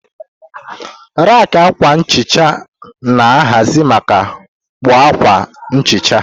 Raki akwa nhicha na-ahazi ma kpoo akwa nhicha.